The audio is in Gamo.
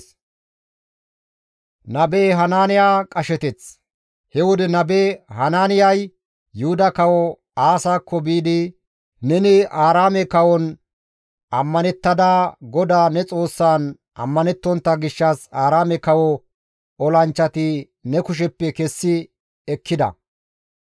He wode nabe Hanaaniyay Yuhuda kawo Aasakko biidi, «Neni Aaraame kawon ammanettada, GODAA ne Xoossan ammanettontta gishshas Aaraame kawo olanchchati ne kusheppe kessi ekkida.